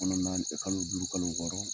kɔnɔ naani tɛ, kalo duuru, kalo wɔɔrɔ